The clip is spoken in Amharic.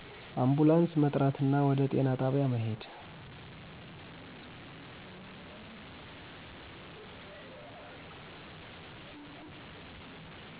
አንፑላንስ መጥራትና ወደ ጤና ጣቢያ መሄድ